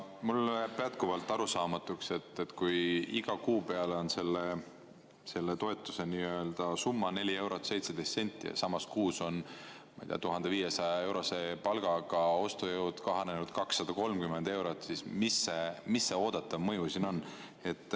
Mulle jääb jätkuvalt arusaamatuks, et kui iga kuu peale on selle toetuse summa 4 eurot ja 17 senti, aga samas kuus on, ma ei tea, 1500-eurose palga saaja ostujõud kahanenud 230 eurot, siis mis see oodatav mõju siin on.